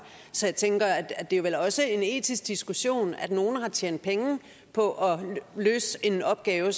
så jeg tænker at det vel også er en etisk diskussion at nogle har tjent penge på at løse en opgave